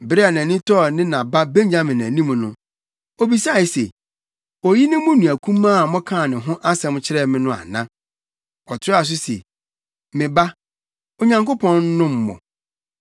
Bere a nʼani tɔɔ ne na ba Benyamin anim no, obisae se, “Oyi ne mo nua kumaa a mokaa ne ho asɛm kyerɛɛ me no ana?” Ɔtoaa so se, “Me ba, Onyankopɔn nnom wo!”